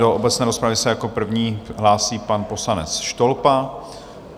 Do obecné rozpravy se jako první hlásí pan poslanec Štolpa.